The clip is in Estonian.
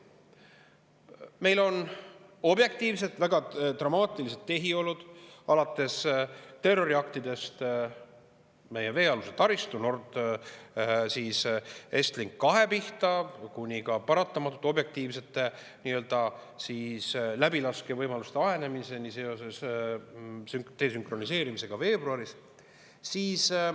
Meil on objektiivselt väga dramaatilised tehiolud, alates terroriaktidest meie veealuse taristu Estlink 2 pihta kuni paratamatult objektiivsete nii-öelda läbilaskevõimaluste ahenemiseni seoses desünkroniseerimisega veebruaris.